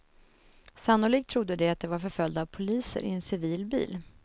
Sannolikt trodde de att de var förföljda av poliser i en civil bil.